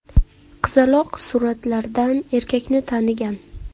Qizaloq suratlardan erkakni tanigan.